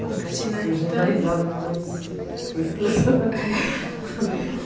Bom, Cristina, então... Hoje a gente dá risada, mas foi estressante.